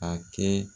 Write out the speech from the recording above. A kɛ